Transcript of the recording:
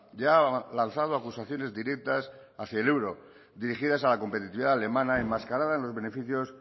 ya ha lanzado acusaciones directas hacia el euro dirigidas a la competitividad alemana enmascarada en los beneficios